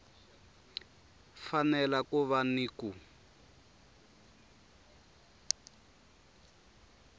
fanele ku va ni ku